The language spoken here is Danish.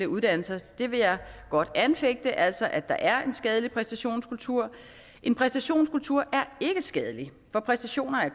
uddannelser det vil jeg godt anfægte altså at der er en skadelig præstationskultur en præstationskultur er ikke skadelig for præstationer er